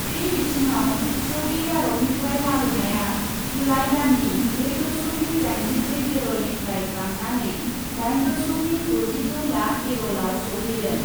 बे बिथिडाव सौदि आरबनिफ्राय लाबोनाया जुलाइ दाननि ब्रै दस'मिक दाइनजिब्रै बेरलनिफ्राय बांनानै दाइन दस'मिक दजिद' लाख बेरलआव सौहैदों ।